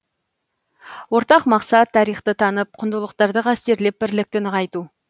ортақ мақсат тарихты танып құндылықтарды қастерлеп бірлікті нығайту